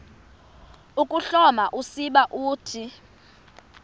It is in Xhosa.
ukuhloma usiba uthi